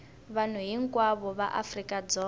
vanhu hinkwavo va afrika dzonga